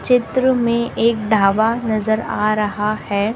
चित्र में एक ढाबा नजर आ रहा है।